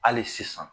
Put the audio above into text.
Hali sisan